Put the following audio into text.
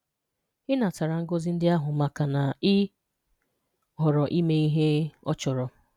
Ị natara ngọzi ndị ahụ, makana ị họọrọ ịme ihe ọ chọrọ.